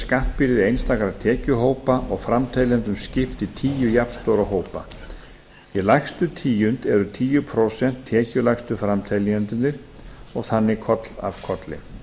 skattbyrði einstakra tekjuhópa og framteljendum skipt í tíu jafnstóra hópa í lægstu tíund eru tíu prósent tekjulægstu framteljendurnir og þannig koll af kolli